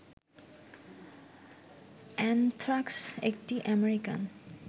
anthrax একটি American